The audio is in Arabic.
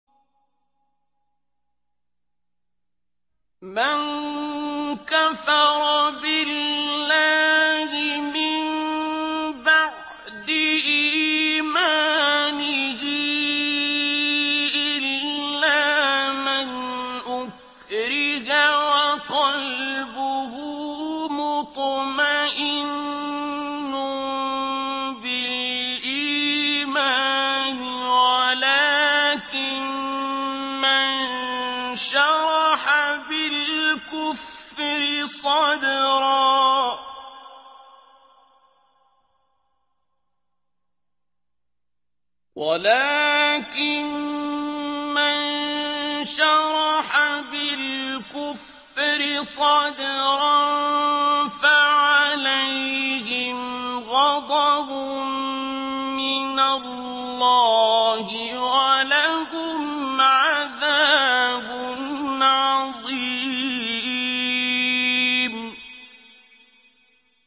مَن كَفَرَ بِاللَّهِ مِن بَعْدِ إِيمَانِهِ إِلَّا مَنْ أُكْرِهَ وَقَلْبُهُ مُطْمَئِنٌّ بِالْإِيمَانِ وَلَٰكِن مَّن شَرَحَ بِالْكُفْرِ صَدْرًا فَعَلَيْهِمْ غَضَبٌ مِّنَ اللَّهِ وَلَهُمْ عَذَابٌ عَظِيمٌ